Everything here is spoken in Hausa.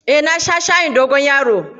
Eh, na sha shayin dogon yaro.